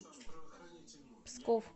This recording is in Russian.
псков